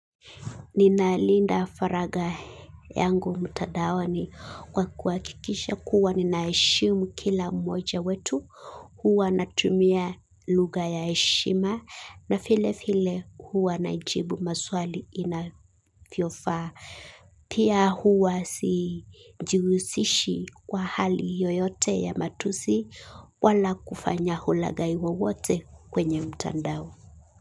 Ninalinda faraga yangu mtadaoni kwa kuhakikisha kuwa ninaheshimu kila mmoja wetu, huwa natumia lugha ya heshima na vile vile huwa najibu maswali inavyofaa. Pia huwa sijihusishi kwa hali yoyote ya matusi wala kufanya ulagai wowote kwenye mtandao.